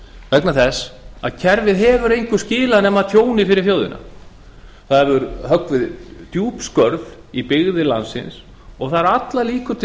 vegna þess að kerfið hefur engu skilað nema tjóni fyrir þjóðina það hefur höggvið djúp skörð í byggðir landsins og það eru allar líkur til